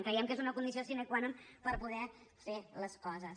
creiem que és una condició sine qua non per poder fer les coses